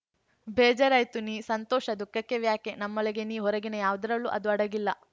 ಬೇಜಾರಾಯ್ತಾ ನೀ ಸಂತೋಷ ದುಃಖಕ್ಕೆ ವ್ಯಾಖ್ಯೆ ನಮ್ಮೊಳಗೆ ನೀ ಹೊರಗಿನ ಯಾವುದರಲ್ಲೂ ಅದು ಅಡಗಿಲ್ಲ